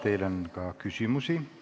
Teile on küsimusi.